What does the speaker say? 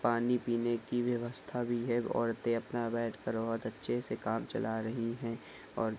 पानी पीने की व्यवस्था भी है औरतें अपना बैठ कर बहुत अच्छे से काम चला रही है और--